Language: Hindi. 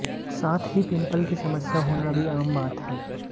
साथ ही पिम्पल की समस्या होना भी आम बात है